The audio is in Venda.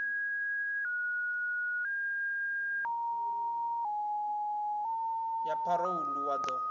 ya pharou ḽu wa ḓo